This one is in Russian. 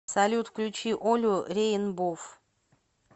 салют включи олю реинбов